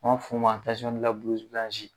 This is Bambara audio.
An b'a fɔ o ma